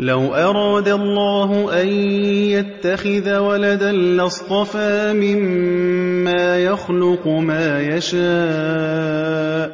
لَّوْ أَرَادَ اللَّهُ أَن يَتَّخِذَ وَلَدًا لَّاصْطَفَىٰ مِمَّا يَخْلُقُ مَا يَشَاءُ ۚ